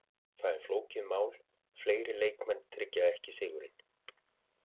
Það er flókið mál, fleiri leikmenn tryggja ekki sigurinn.